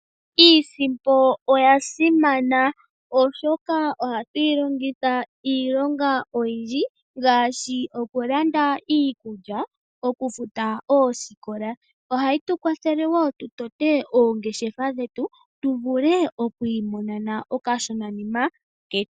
Iisimpo oyasimana oshoka ohatu yilongitha iilonga oyindji ngaashi okulanda iikulya, okufuta oosikola. Ohayi tu kwathele woo tu tote oongeshefa dhetu tuvule okwiimonena okashona nima ketu.